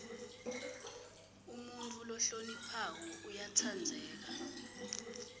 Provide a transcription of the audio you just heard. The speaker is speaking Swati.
umuntfu lohloniphako uyatsandzeka